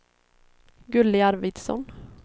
Gulli Arvidsson